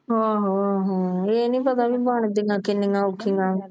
ਆਹੋ ਆਹੋ ਏ ਨਹੀਂ ਪਤਾ ਬਣਦੀਆਂ ਕਿਨੀਆਂ ਔਖੀਆਂ